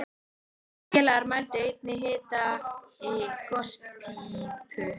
Þeir félagar mældu einnig hita í gospípu